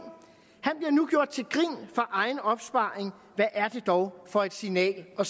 han bliver nu gjort til grin for egen opsparing hvad er det dog for et signal at